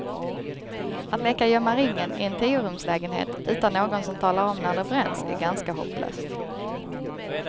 Att leka gömma ringen i en tiorumslägenhet utan någon som talar om när det bränns är ganska hopplöst.